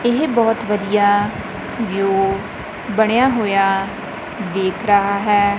ਇਹ ਬਹੁਤ ਵਧੀਆ ਵੀਯੂ ਬਣਿਆ ਹੋਇਆ ਦੇਖ ਰਹਾ ਹੈ।